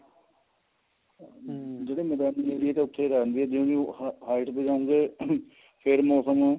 ਜਿਹੜੇ ਮੈਦਾਨੀ ਏਰੀਏ ਨੇ ਉੱਥੇ ਰਹਿੰਦੇ ਜਿਵੇਂ height ਤੇ ਜਾਓਗੇ ਫੇਰ ਮੋਸਮ